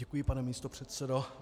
Děkuji, pane místopředsedo.